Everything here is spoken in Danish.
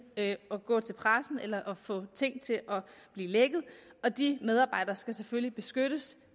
at at gå til pressen eller at få ting til at blive lækket og de medarbejdere skal selvfølgelig beskyttes